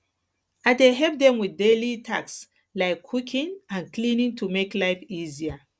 i dey help dem with daily tasks like cooking and cleaning to make life easier